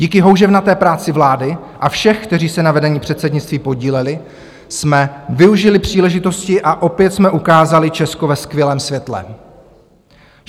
Díky houževnaté práci vlády a všech, kteří se na vedení předsednictví podíleli, jsme využili příležitosti a opět jsme ukázali Česko ve skvělém světle.